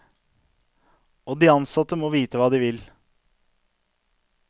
Og de ansatte må vite hva de vil.